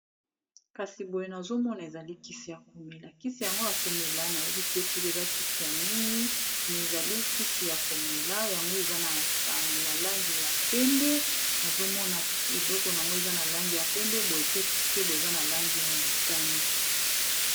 kasi boye nazomona ezali kisi ya komela kisi yango ya komela nayebi te soki eza kisi ya nini me ezali kisi ya komela yango eza na langi ya pembe nazomona elokon yango eza na langi ya pembe boye pe moke boye eza na langi ya motane